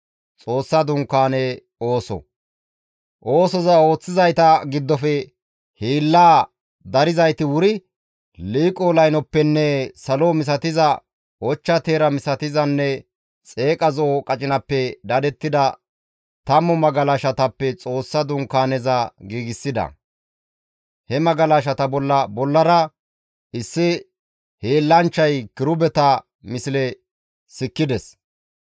Oosoza ooththizayta giddofe hiillaa darzayti wuri liiqo laynoppenne salo misatiza, ochcha teera misatizanne xeeqa zo7o qacinappe dadettida tammu magalashatappe Xoossa Dunkaaneza giigsida. He magalashata bolla bollara issi hiillanchchay kirubeta misle sikkides.